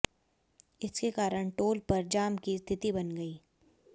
इसके कारण टोल पर जाम की स्थिति बन गई